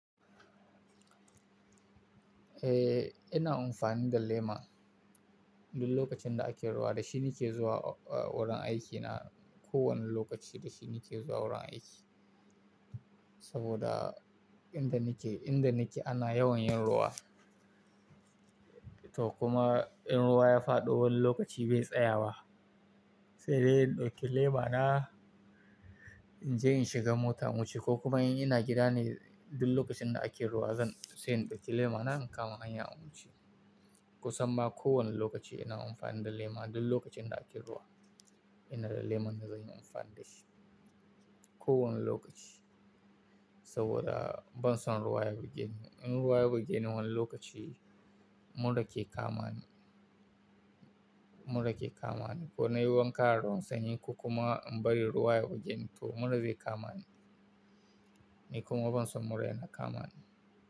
Eh, ina amfani da lema duk lokacin da ake ruwa. Da shi nake zuwa wurin aikina. Ko wane lokaci da shi nake zuwa wurin aiki. Saboda inda nake, inda nake ana yawan yin ruwa. To kuma in ruwa ya faɗo wani lokaci bai tsaya ba, sai dai in ɗauki lema na in je in shiga mota in wuce ko kuma in ina gida ne duk lokacin da ake ruwa zan sai in ɗauki lema na in kama in ya wuce. Kusan ma kowane lokaci ina amfani da lema duk lokacin da ake ruwa. Ina da leman da zan yi amfani da shi. Ko wane lokaci saboda ban son ruwa ya bugeni. In ruwa ya bugeni wani lokaci mura ke kamani, mura ke kamani. Ko na yi wanka da ruwan sanyi, kokuma in bari ruwa ya bugeni to mura zai kamani. Ni kuma ban son mura yana kamani.